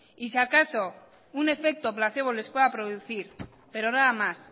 y si acaso un efecto placebo les pueda producir pero nada más